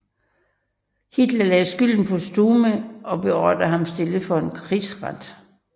Hitler lagde skylden på Stumme og beordrede ham stillet for en krigsret